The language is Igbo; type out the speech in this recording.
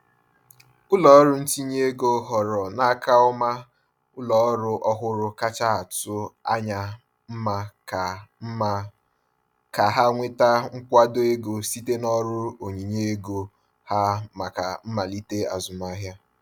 Ụlọọrụ ntinye ego họọrọ n’aka ọma ụlọọrụ ọhụrụ kacha atụ anya mma ka mma ka ha nweta nkwado ego site n’ọrụ onyinye ego ha maka mmalite azụmahịa.